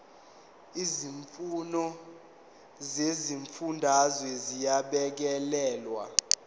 izimfuno zezifundazwe ziyabhekelelwa